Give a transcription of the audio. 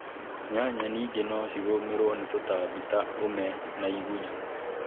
Nyanya ningĩ nocigũmĩruo ni tũtambi ta ũũme na igunyũ